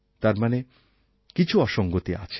তার মানে কিছু অসংগতি আছে